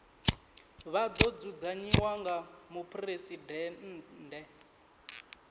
ḽa ḓo dzudzanyiwa nga muphuresidennde